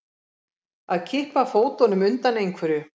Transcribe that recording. Að kippa fótunum undan einhverju